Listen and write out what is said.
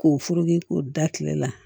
K'o furugu k'o da kile la